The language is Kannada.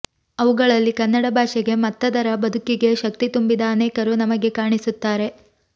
ಅವುಗಳಲ್ಲಿ ಕನ್ನಡ ಭಾಷೆಗೆ ಮತ್ತದರ ಬದುಕಿಗೆ ಶಕ್ತಿ ತುಂಬಿದ ಅನೇಕರು ನಮಗೆ ಕಾಣಿಸುತ್ತಾರೆ